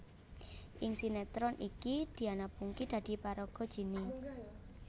Ing sinetron iki Diana Pungky dadi paraga Jinny